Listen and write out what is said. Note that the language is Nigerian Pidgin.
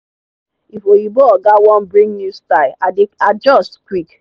if oyinbo oga wan bring new style i dey adjust quick.